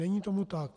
Není tomu tak.